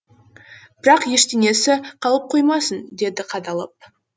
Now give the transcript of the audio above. бірақ ештеңесі қалып қоймасын деді қадалып